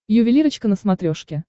ювелирочка на смотрешке